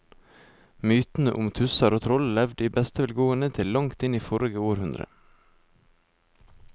Mytene om tusser og troll levde i beste velgående til langt inn i forrige århundre.